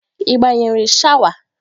Ị gbanyere shawa?